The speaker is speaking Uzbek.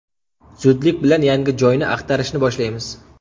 Zudlik bilan yangi joyni axtarishni boshlaymiz.